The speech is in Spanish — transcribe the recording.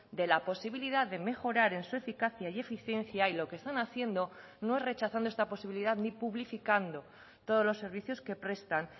de la posibilidad de mejorar en su eficacia y eficiencia y lo que están haciendo no es rechazando esta posibilidad ni publificando todos los servicios que prestan